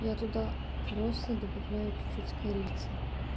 я туда просто добавляю чуть-чуть корицы